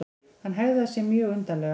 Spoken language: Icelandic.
Hann hegðaði sér mjög undarlega.